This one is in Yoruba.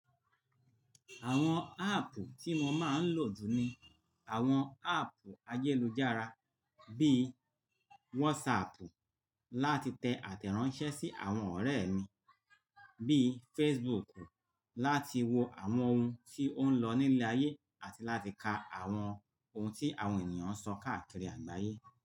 Àwọn áàpù tí mo máa ń lò jù ni àwọn áàpù ayélujára bí i WhatsApp láti tẹ àtẹ̀ránsẹ́ sí àwọn ọ̀rẹ́ mí, bíi Facebook láti wo àwọn ohun tí ó ń lọ ní ilẹ̀ ayé àti láti ka àwọn ohun tí àwọn ènìyàn ń sọ káàkiri àgbáyé.